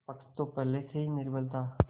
पक्ष तो पहले से ही निर्बल था